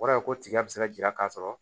O kɔrɔ ye ko tigɛ bɛ se ka jira k'a sɔrɔ